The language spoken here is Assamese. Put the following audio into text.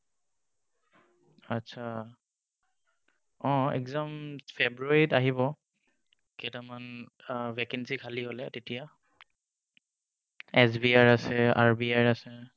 আচ্ছা অহ exam ফেব্ৰুৱাৰীত আহিব কেইটামান। vacancy খালী হলে তেতিয়া SBI ৰ আছে RBI ৰ আছে।